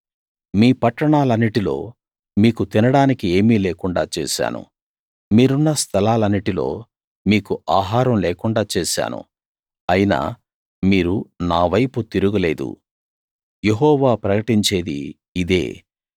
మీ పట్టణాలన్నిటిలో మీకు తినడానికి ఏమీ లేకుండా చేశాను మీరున్న స్థలాలన్నిటిలో మీకు ఆహారం లేకుండా చేశాను అయినా మీరు నా వైపు తిరుగలేదు యెహోవా ప్రకటించేది ఇదే